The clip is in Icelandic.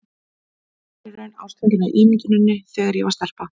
Ég var í raun ástfangin af ímynduninni þegar ég var stelpa.